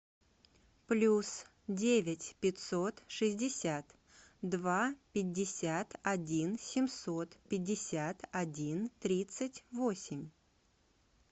плюс девять пятьсот шестьдесят два пятьдесят один семьсот пятьдесят один тридцать восемь